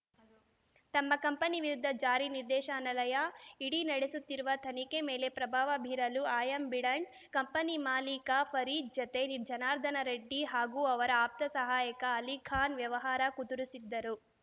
ತಮ್ಮ ಕಂಪನಿ ವಿರುದ್ಧ ಜಾರಿ ನಿರ್ದೇಶನಾಲಯ ಇಡಿ ನಡೆಸುತ್ತಿರುವ ತನಿಖೆ ಮೇಲೆ ಪ್ರಭಾವ ಬೀರಲು ಆ್ಯಂಬಿಡೆಂಟ್‌ ಕಂಪನಿ ಮಾಲೀಕ ಫರೀದ್‌ ಜತೆ ಜನಾರ್ದನ ರೆಡ್ಡಿ ಹಾಗೂ ಅವರ ಆಪ್ತ ಸಹಾಯಕ ಅಲಿಖಾನ್‌ ವ್ಯವಹಾರ ಕುದುರಿಸಿದ್ದರು